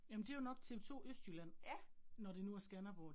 Jamen det var nok TV2 Østjylland, når det nu er Skanderborg